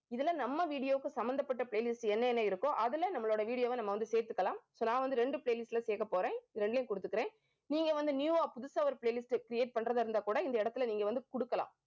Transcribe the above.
இதுல நம்ம video க்கு சம்மந்தப்பட்ட playlist என்னென்ன இருக்கோ அதுல நம்மளோட video வை நம்ம வந்து சேர்த்துக்கலாம். so நான் வந்து ரெண்டு playlist ல சேர்க்கப் போறேன். இரண்டையும் கொடுத்துக்கிறேன் நீங்க வந்து new வா புதுசா ஒரு playlist create பண்றதா இருந்தா கூட இந்த இடத்துல நீங்க வந்து குடுக்கலாம்